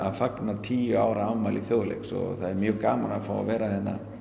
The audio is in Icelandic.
fagna tíu ára afmæli Þjóðleiks og það er mjög gaman að fá að vera hér